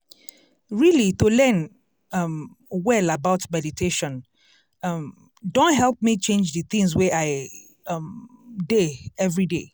really to learn um well about meditation um don help me change d things wey i um dey everyday.